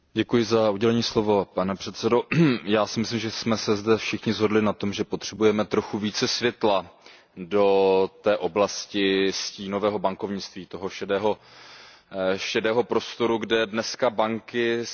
Pane předsedající, já si myslím, že jsme se zde všichni shodli na tom, že potřebujeme trochu více světla do té oblasti stínového bankovnictví, toho šedého prostoru, kde se dneska banky bohužel nacházejí.